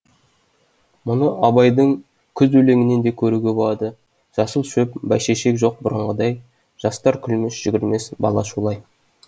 мұны абайдың күз өлеңінен де көруге болады жасыл шөп бәйшешек жоқ бұрынғыдай жастар күлмес жүгірмес бала шулай